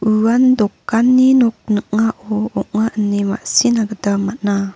uan dokanni nok ning·ao ong·a ine ma·sina gita man·a.